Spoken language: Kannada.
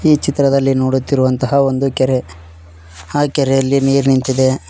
ಈ ಚಿತ್ರದಲ್ಲಿ ನೋಡುತಿರುವಂತಹ ಒಂದು ಕೆರೆ ಆ ಕೆರೆಯಲ್ಲಿ ನೀರ್ ನಿಂತಿದೆ.